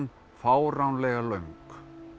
fáránlega löng